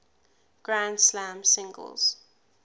grand slam singles